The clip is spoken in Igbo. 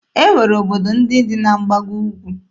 E nwere obodo ndị dị na mgbago Ugwu.